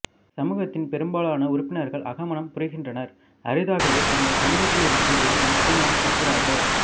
சமூகத்தின் பெரும்பாலான உறுப்பினர்கள் அகமணம் புரிகின்றனர் அரிதாகவே தங்கள் சமூகத்திலிருந்து வெளியே திருமணம் செய்கிறார்கள்